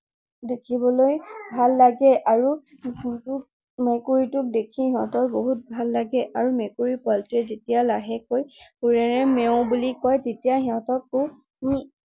দেখিবলৈ ভাল লাগে আৰু, মেকুৰীটোক দেখি সিহতৰ বহুত ভাল লাগে। আৰু মেকুৰী পোৱালীটোৱে যেতিয়া লাহেকৈ সুৰেৰে মেওঁ বুলি কয় তেতিয়া সিহতকো